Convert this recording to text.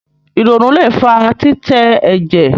ìrònú lẹ fà titẹ ẹjẹ